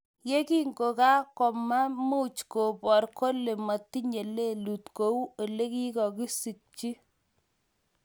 Yekingomaimuch kobor kole matinye lelut , ko uu eng' olekokisyikchi.